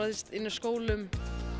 skólum